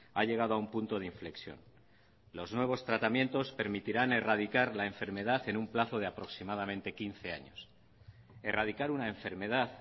ha llegado a un punto de inflexión los nuevos tratamientos permitirán erradicar la enfermedad en un plazo de aproximadamente quince años erradicar una enfermedad